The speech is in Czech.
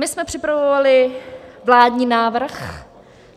My jsme připravovali vládní návrh